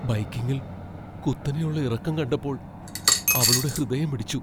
ബൈക്കിംഗിൽ കുത്തനെയുള്ള ഇറക്കം കണ്ടപ്പോൾ അവളുടെ ഹൃദയമിടിച്ചു .